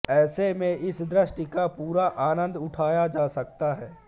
ऐसे में इस दृश्य का पूरा आनंद उठाया जा सकता है